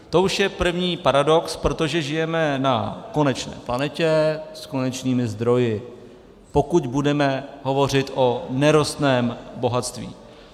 To už je první paradox, protože žijeme na konečné planetě s konečnými zdroji, pokud budeme hovořit o nerostném bohatství.